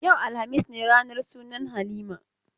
Yau, alhamis ne ranar sunan Halima.